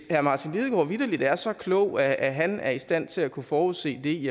herre martin lidegaard vitterlig er så klog at at han er i stand til at kunne forudse det